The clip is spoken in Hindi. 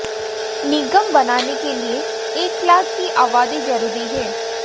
निगम बनाने के लिए एक लाख की आबादी जरूरी है